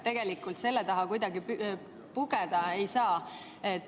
Tegelikult selle taha kuidagi pugeda ei saa.